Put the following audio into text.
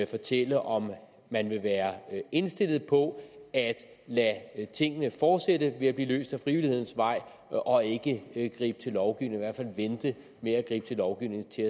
fortælle om man vil være indstillet på at lade tingene fortsætte med at blive løst ad frivillighedens vej og ikke ikke gribe til lovgivning hvert fald vente med at gribe til lovgivning til